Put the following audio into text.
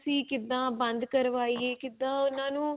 ਅਸੀਂ ਕਿਦਾਂ ਬੰਦ ਕਰਵਾਈਏ ਕਿਦਾਂ ਉਹਨਾਂ ਨੂੰ